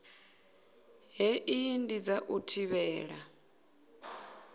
hei ndi dza u thivhela